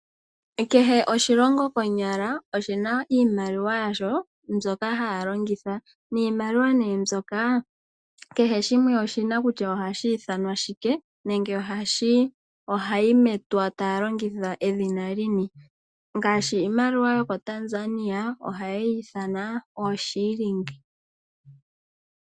Kehe oshilongo konyala oshina iimaliwa yasho mbyoka haya longitha niimaliwa nee mbyoka kehe shimwe oshina kutya ohashi ithanwa shike nenge ohayi metwa taya longitha edhina lini, ngaashi iimaliwa yokoTanzania ohaye yi ithana ooshilling.